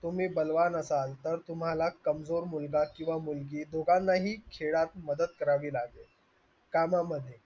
तुम्ही बलवान असाल तर तुम्हाला मुलगा किंवा मुलगी दोघांनाही खेळात मदत करावी लागेल